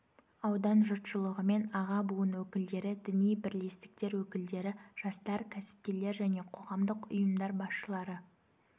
аудан жұртшылығымен аға буын өкілдері діни бірлестіктер өкілдері жастар кәсіпкерлер және қоғамдық ұйымдар басшылары